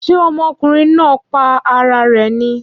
Ṣé ọmọkùnrin náà pa ara rè ni?